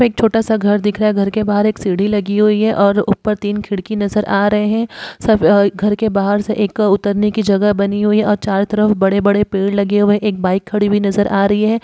एक छोटा सा घर दिख रहा है घर के बाहार एक सीढ़ी लगी हुई है और ऊपर तीन खिड़की नजर आ रहे हैं सब अ घर के बाहर से एक उतरने की जगह बनी हुई है और चारों तरफ बड़े-बड़े पेड़ लगे हुए हैं | एक बाइक खड़ी हुई नज़र आ रही है ।